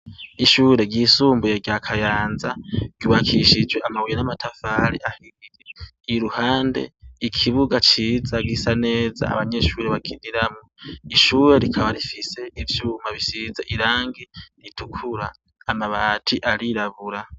Ishure ryisumbuye rya Kayanza ryubakishijwe amabuye n'amatafari ahiye. Ihande ikibuga ciza gisa neza abanyeshuri bakiniramwo. Ishure rikaba rifise ivyuma bisize irangi ritukura, amabati arirabura.